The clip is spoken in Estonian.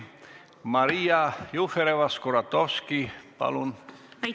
Maria Jufereva-Skuratovski, palun!